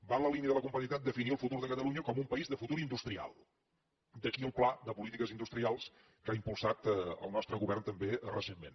va en la línia de la competitivitat definir el futur de catalunya com un país de futur industrial d’aquí el pla de polítiques industrials que ha impulsat el nostre govern també recentment